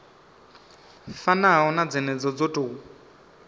fanaho na dzenedzo dzo tou